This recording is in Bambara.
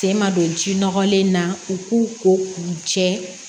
Sen ma don ji nɔgɔlen na u k'u ko k'u jɛ